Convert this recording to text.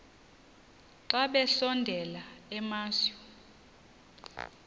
xa besondela emasuie